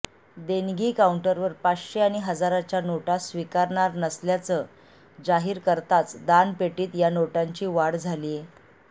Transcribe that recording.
देणगी काऊंटरवर पाचशे आणि हजाराच्या नोटा स्विकारणार नसल्याचं जाहीर करताच दानपेटीत या नोटांची वाढ झालीय